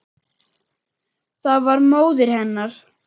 Það var móðir hennar.